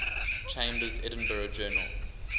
chambers's edinburgh journal